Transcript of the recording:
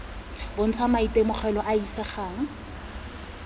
bontsha maitemogelo a a isegang